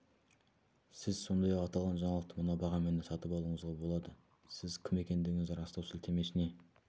сіз сондай-ақ аталған жаңалықты мына бағамен де сатып алуыңызға болады сіз кім екендігіңізді растау сілтемесіне